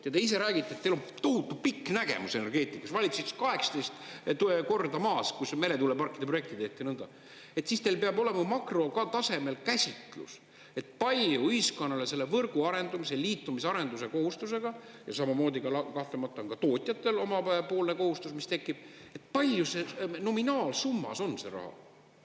Ja te ise räägite, et teil on tohutu pikk nägemus energeetikas, valitsus ütles, 18 korda …, kus meretuuleparkide projekte tehti, siis teil peab olema makrotasemel käsitlus, palju ühiskonnale selle võrgu arendamise, liitumise arenduse kohustusega, ja samamoodi kahtlemata on ka tootjatel omapoolne kohustus, mis tekib, palju nominaalsummas on see raha?